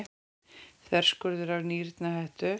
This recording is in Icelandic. Þverskurður af nýrnahettu.